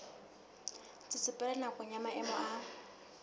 tsetsepela nakong ya maemo a